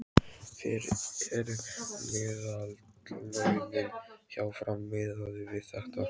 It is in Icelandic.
Hver eru meðallaunin hjá Fram miðað við þetta?